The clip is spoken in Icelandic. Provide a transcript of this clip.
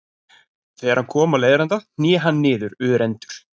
Þegar hann kom á leiðarenda hné hann niður örendur.